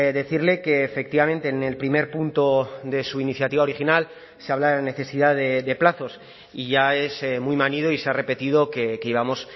decirle que efectivamente en el primer punto de su iniciativa original se habla de la necesidad de plazos y ya es muy manido y se ha repetido que íbamos